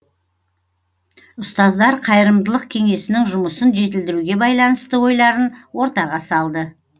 ұстаздар қайырымдылық кеңесінің жұмысын жетілдіруге байланысты ойларын ортаға салды